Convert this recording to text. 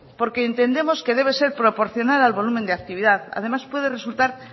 porque entendemos que debe ser proporcional al volumen de actividad además puede resultar